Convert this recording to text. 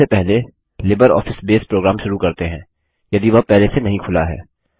चलिए सबसे पहले लिब्रियोफिस बसे प्रोग्राम शुरू करते हैं यदि वह पहले से नहीं खुला है